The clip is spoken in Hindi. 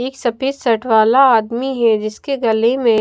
एक सफेद शर्ट वाला आदमी है जिसके गले में--